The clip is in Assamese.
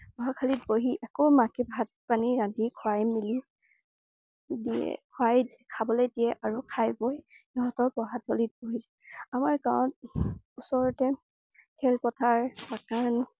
পঢ়াশালিত বহি আকৌ মাকে ভাত পানী ৰান্ধি খুৱাই মেলি দিয়া খুৱাই ~খাবলৈ দিয়ে আৰু খাই বৈ সিহঁতক পঢ়াশালিত বহে। আমাৰ গাঁৱত ওচৰতে খেলপথাৰ मकान